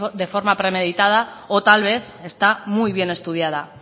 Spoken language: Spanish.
de forma premeditada o tal vez está muy bien estudiada